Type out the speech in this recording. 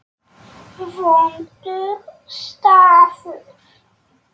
Vondur staður.